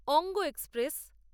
অঙ্গ এক্সপ্রেস